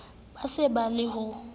bo se bo le ho